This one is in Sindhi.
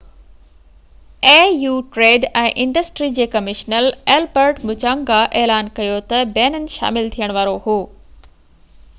au ٽريڊ ۽ انڊسٽري جي ڪمشنر البرٽ مُچانگا اعلان ڪيو ته بينن شامل ٿيڻ وارو هو